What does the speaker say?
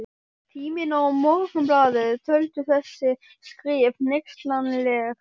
Tíminn og Morgunblaðið töldu þessi skrif hneykslanleg.